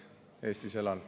Eestis elan.